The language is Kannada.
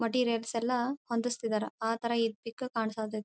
ಮೆಟೀರಿಯಲ್ಸ್ ಎಲ್ಲಾ ಹೊಂದಿಸುತ್ತಿದ್ದಾರೆ ಅಥರ ಈ ಪಿಕ್ ಕಾಣಿಸುತ್ತಿದೆ.